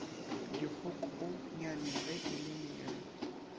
dikgokonyane ge e le mere